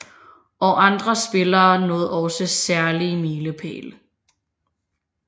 Og andre spillere nåede også særlige milepæle